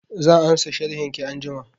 Zan ansa sharhin ki anjima